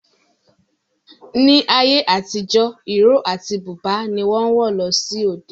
Ní ayé àtijọ́, ìró àti búbà ni wọ́n ń wọ̀ lọ sí òde